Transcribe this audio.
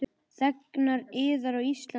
Þegnar yðar á Íslandi þjást.